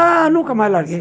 Ah, nunca mais larguei.